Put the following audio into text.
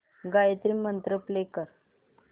Gayatri mantra play कर